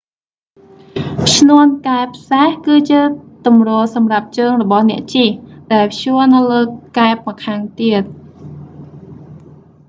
ឈ្នាន់កែបសេះ គឺជាទម្រសម្រាប់ជើងរបស់អ្នកជិះ ដែលព្យួរនៅលើកែបម្ខាងទៀត